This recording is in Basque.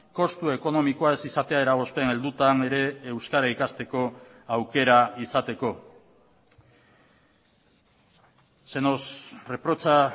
kostu ekonomikoa ez izatea eragozpen heldutan ere euskara ikasteko aukera izateko se nos reprocha